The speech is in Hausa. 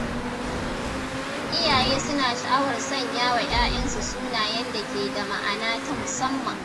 Iyaye suna sha’awar sanya wa ‘ya’yansu sunayen da ke da ma’ana ta musamman.